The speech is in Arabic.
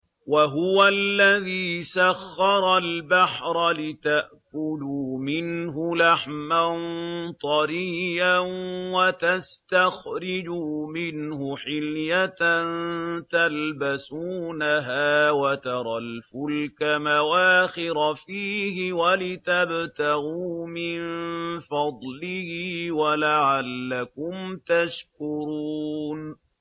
وَهُوَ الَّذِي سَخَّرَ الْبَحْرَ لِتَأْكُلُوا مِنْهُ لَحْمًا طَرِيًّا وَتَسْتَخْرِجُوا مِنْهُ حِلْيَةً تَلْبَسُونَهَا وَتَرَى الْفُلْكَ مَوَاخِرَ فِيهِ وَلِتَبْتَغُوا مِن فَضْلِهِ وَلَعَلَّكُمْ تَشْكُرُونَ